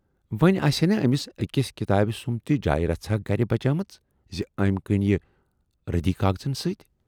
وۅنۍ آسہِ ہے نا ٲمِس ٲکِس کِتابہِ سُمب تہِ جایہِ رژھا گرِ بچے مٕژ زِ ٲمۍ کٕنۍ یہِ رٔدی کاغذن سۭتۍ۔